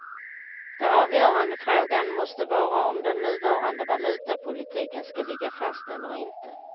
Den avgörande frågan måste vara om den nuvarande valutapolitiken skall ligga fast eller inte.